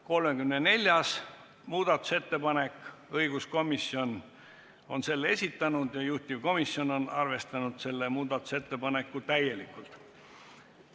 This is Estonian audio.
34. muudatusettepaneku on esitanud õiguskomisjon ja juhtivkomisjon on arvestanud seda täielikult.